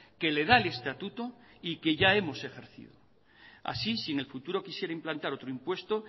que le da el estatuto y que ya hemos ejercido así si en el futuro quisiera implantar otro impuesto